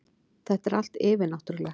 Þetta er allt yfirnáttúrulegt.